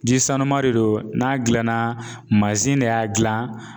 Ji sanu de don n'a gilanna de y'a gilan